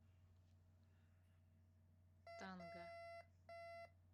танга